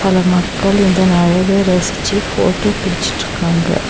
பல மக்கள் இதன் அழக ரசிச்சி போட்டோ புடிச்சிட்ருக்காங்க.